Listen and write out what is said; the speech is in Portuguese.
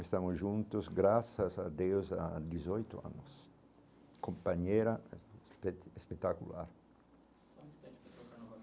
Estamos juntos graças a Deus há dezoito anos, companheira espe espetacular.